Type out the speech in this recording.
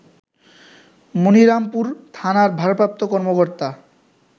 মনিরামপুর থানার ভারপ্রাপ্ত কর্মকর্তা